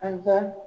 A ka